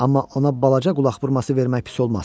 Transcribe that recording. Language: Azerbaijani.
Amma ona balaca qulaq vurması vermək pis olmaz.